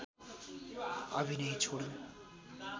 अभिनय छोडिन्